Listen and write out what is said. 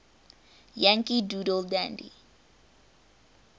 yankee doodle dandy